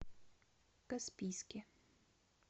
каспийске